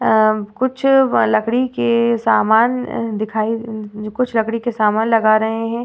अ कुछ व लकड़ी के सामान अ दिखाई अ कुछ लकड़ी के सामान लगा रहे हैं।